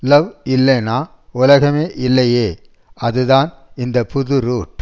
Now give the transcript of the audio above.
love இல்லேனா உலகமே இல்லையே அதுதான் இந்த புது ரூட்